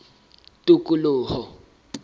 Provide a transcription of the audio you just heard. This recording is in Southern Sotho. tikoloho